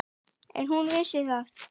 En hún vissi það.